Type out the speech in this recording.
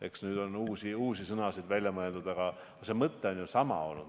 Eks nüüd on uusi sõnu välja mõeldud, aga see mõte on ju sama olnud.